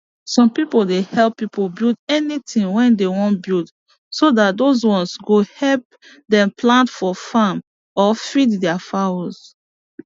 some people dey help people build anything wey they wan build so that those ones go help them plant foe farm or feed their fowls